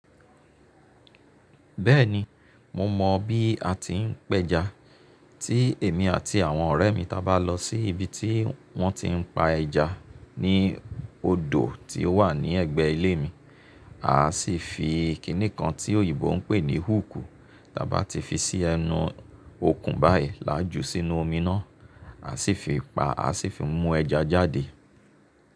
Bẹ́ẹ̀ni, mo mọ bí a ti ń pẹja, tí èmi àti àwọn ọ̀rẹ́ mi tá ba lọ sí ibi tí wọ́n ti ń pa ẹja ní odò tí ó wà ní ẹ̀gbẹ́ ilé mi. À á sì fi ìkíni kan tí òyìnbó ń pè ní húùkù, tí a bá ti fi sí ẹnu okùn báyìí làájú sínú omi náà, a sì fi pa, a sì fi mú ẹja jáde.